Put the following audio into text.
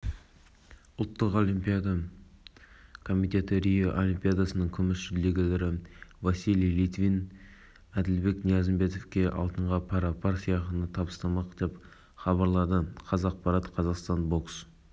жалпы көрме кешенінде мұндай декаративті конструкция бар қараша күні болған оқиғадан кейін олардың барлығы мұқият тексерістен